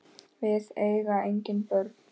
Við eiga engin börn.